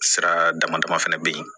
Sira dama dama fɛnɛ be yen